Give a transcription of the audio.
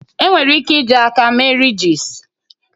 Enwere ike iji aka mee ridges